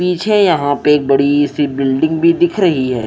पीछे यहां पे एक बड़ी सी बिल्डिंग भी दिख रही है।